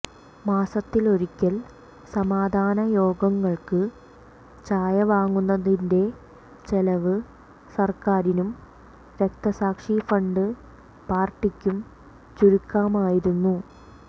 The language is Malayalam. മാസത്തിലൊരിക്കൽ സമാധാന യോഗങ്ങൾക്ക് ചായ വാങ്ങുന്നതിന്റെ ചെലവ് സർക്കാരിനും രക്തസാക്ഷിഫണ്ട് പാർട്ടിക്കും ചുരുക്കാമായിരുന്നു